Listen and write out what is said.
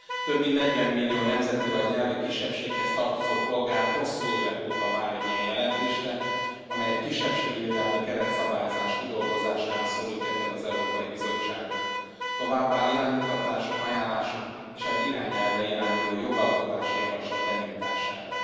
Több mint 40 millió nemzeti vagy nyelvi kisebbséghez tartozó polgár hosszú évek óta vár egy ilyen jelentésre, amely egy kisebbségvédelmi keretszabályozás kidolgozására szólítja fel az Európai Bizottságot, továbbá iránymutatások, ajánlások és egy irányelvre irányuló jogalkotási javaslat benyújtására.